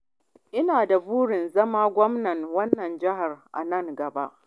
Ina da burin zama gwamnan wannan jihar a nan gaba.